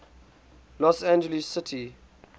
los angeles city